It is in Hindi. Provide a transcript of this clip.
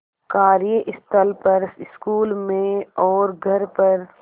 कार्यस्थल पर स्कूल में और घर पर